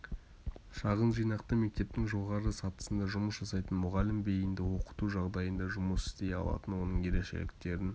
шағын жинақты мектептің жоғары сатысында жұмыс жасайтын мұғалім бейінді оқыту жағдайында жұмыс істей алатын оның ерекшеліктерін